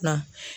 Na